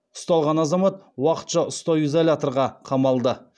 ұсталған азамат уақытша ұстау изоляторға қамалды